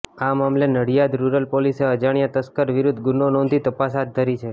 આ મામલે નડિયાદ રૃરલ પોલીસે અજાણ્યા તસ્કર વિરૃધ્ધ ગુનો નોંધી તપાસ હાથ ધરી છે